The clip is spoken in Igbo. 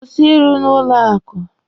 Kwụsị ịrụ n'ụlọ akụ!